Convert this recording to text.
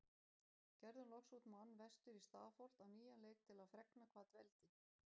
Gerðum loks út mann vestur í Stafholt á nýjan leik til að fregna hvað dveldi